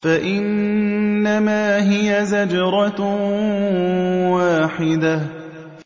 فَإِنَّمَا هِيَ زَجْرَةٌ وَاحِدَةٌ